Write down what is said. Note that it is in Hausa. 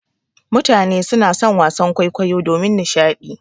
Mutane suna son wasan kwaikwayo domin nishaɗi.